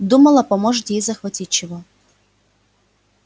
думала может ей захватить чего